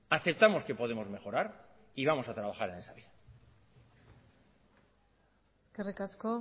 aceptamos que podemos mejorar y vamos a trabajar en esa vía eskerrik asko